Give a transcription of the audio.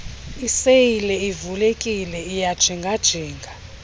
iseyile ivulekile iyajingajinga